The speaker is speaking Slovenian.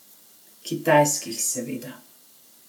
Kitajskih, seveda.